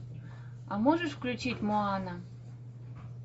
а можешь включить моана